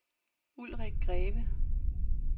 Ulrik Greve